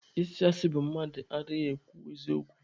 Ịsị asị bụ mmadụ adịghị ekwu eziokwu.